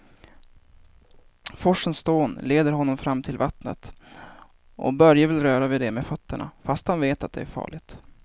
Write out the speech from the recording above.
Forsens dån leder honom fram till vattnet och Börje vill röra vid det med fötterna, fast han vet att det är farligt.